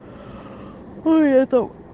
это